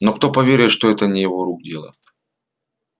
но кто поверит что это не его рук дело